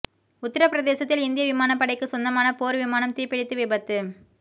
உத்தரப்பிரதேசத்தில் இந்திய விமானப் படைக்கு சொந்தமான போர் விமானம் தீப்பிடித்து விபத்து